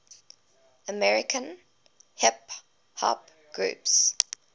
american hip hop groups